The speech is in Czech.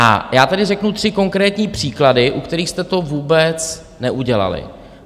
A já tady řeknu tři konkrétní příklady, u kterých jste to vůbec neudělali.